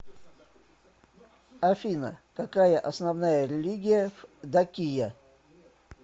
афина какая основная религия в дакия